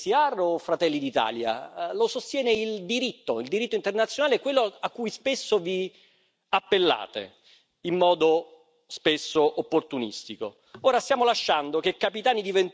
Non lo sostengo io, non lo sostiene l'ECR o Fratelli d'Italia, lo sostiene il diritto, il diritto internazionale, quello a cui spesso vi appellate in modo spesso opportunistico.